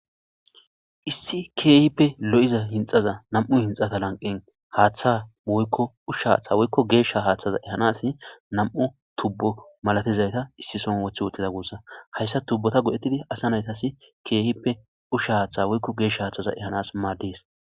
Issi keehippe lo'iza hinxaza nam'u hinxata lanqen haaththa oykko ushsha haththa woykko geesha haaththaza ehanas nam'u tubbo malatizayta issi son wothi woxxida gussa hayssa tubbota godhettidi asa naytasi keehippe usha haaththa woykko geesh haaththaza ehanas maades